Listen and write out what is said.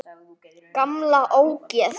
Gamla ógeð!